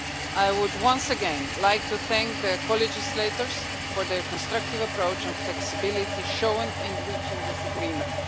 I would once again like to thank the co legislators for their constructive approach and flexibility shown in reaching this agreement.